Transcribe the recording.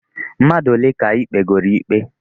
Mmadụ ole ka ị kpegooro ikpe?